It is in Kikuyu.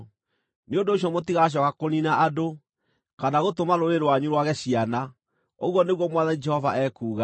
nĩ ũndũ ũcio mũtigacooka kũniina andũ, kana gũtũma rũrĩrĩ rwanyu rwage ciana, ũguo nĩguo Mwathani Jehova ekuuga.